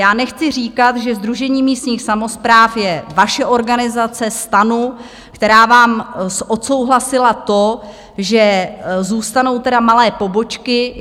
Já nechci říkat, že Sdružení místních samospráv je vaše organizace, STANu, která vám odsouhlasila to, že zůstanou teda malé pobočky.